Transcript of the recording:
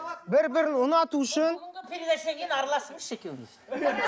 бір бірін ұнату үшін передачадан кейін араласыңызшы екеуіңіз